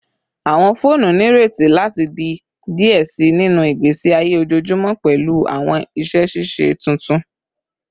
Awọn foonu nireti lati di diẹ sii sinu igbesi aye ojoojumọ pẹlu awọn iṣẹ ṣiṣe tuntun